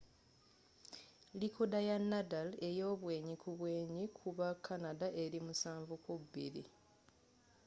likooda ya nadal eyobwenyi kubwenyi ku ba canada eri 7-2